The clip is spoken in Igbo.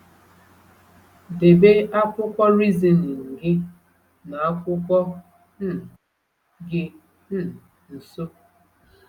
Debe akwụkwọ Reasoning gị na akwụkwọ um gị um nso.